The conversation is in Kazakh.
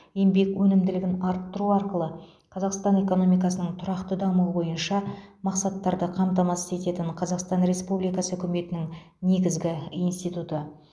еңбек өнімділігін арттыру арқылы қазақстан экономикасының тұрақты дамуы бойынша мақсаттарды қамтамасыз ететін қазақстан республикасы үкіметінің негізгі институты